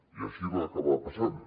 i així va acabar passant